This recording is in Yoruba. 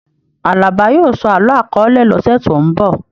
Àlàbá yóò sọ àlọ akọọ́lẹ̀ lọ́sẹ̀ tó n bọ.